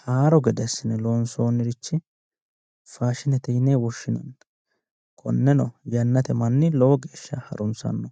haaro gede assine loonsoonnirichi faashinete yine woshshinanni konneno yannate manni lowo geeshsha harunsanno